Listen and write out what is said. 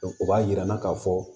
o b'a yira an na k'a fɔ